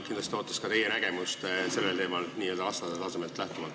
Kindlasti ootaks ka teie nägemust sellel teemal, n-ö lasteaiatasemest lähtuvalt.